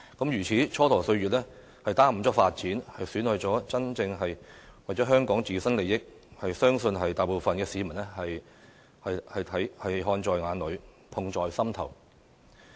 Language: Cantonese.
如此蹉跎歲月，耽誤發展，損害的正是香港人的自身利益，相信大部分市民看在眼裏，痛在心頭。